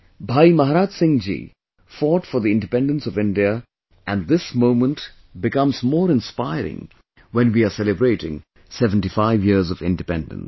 Bhai Maharaj Singh ji fought for the independence of India and this moment becomes more inspiring when we are celebrating 75 years of independence